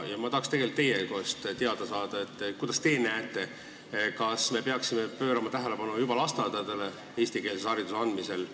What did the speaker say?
Ma tahaks teie käest teada saada, kuidas teie näete, kas me peaksime eestikeelse hariduse andmisel pöörama tähelepanu juba lasteaedadele.